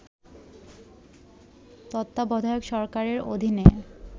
তত্বাবধায়ক সরকারের অধীনে